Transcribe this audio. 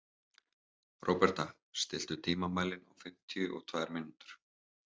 Róberta, stilltu tímamælinn á fimmtíu og tvær mínútur.